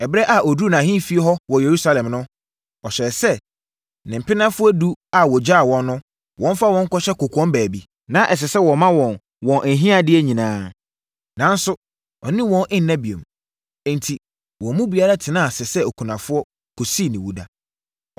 Ɛberɛ a ɔduruu nʼahemfie hɔ wɔ Yerusalem no, ɔhyɛɛ sɛ ne mpenafoɔ edu a ɔgyaa wɔn no, wɔmfa wɔn nkɔhyɛ kɔkoam baabi. Na ɛsɛ sɛ wɔma wɔn wɔn ahiadeɛ nyinaa, nanso ɔne wɔn nna bio. Enti, wɔn mu biara tenaa ase sɛ okunafoɔ, kɔsii ne wuda.